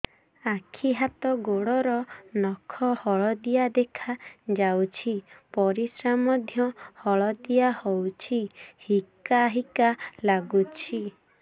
ଆଖି ହାତ ଗୋଡ଼ର ନଖ ହଳଦିଆ ଦେଖା ଯାଉଛି ପରିସ୍ରା ମଧ୍ୟ ହଳଦିଆ ହଉଛି ହିକା ହିକା ଲାଗୁଛି